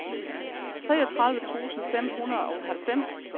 treogtredive tusind fem hundrede og halvfems